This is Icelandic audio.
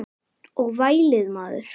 Og vælið maður.